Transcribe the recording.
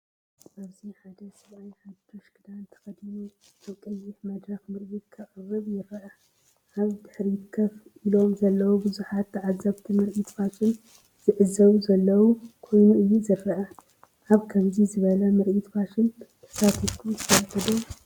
ኣብዚ ሓደ ሰብኣይ ሓድሽ ክዳን ተኸዲኑ ኣብ ቀይሕ መድረክ ምርኢት ከቅርብ ይርአ። ኣብ ድሕሪት ኮፍ ኢሎም ዘለዉ ብዙሓት ተዓዘብቲ ምርኢት ፋሽን ዝዕዘቡ ዘለዉ ኮይኑ እዩ ዝረአ። ኣብ ከምዚ ዝበለ ምርኢት ፋሽን ተሳቲፍኩም ትፈልጡ ዶ?